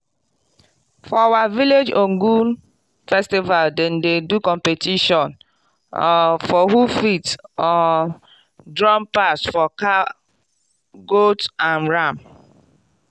for our village ogun festival dem dey competition for who fit jump pass for cow goat and ram